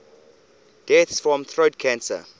deaths from throat cancer